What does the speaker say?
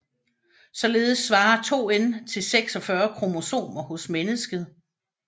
Således svarer 2n til 46 kromosomer hos mennesket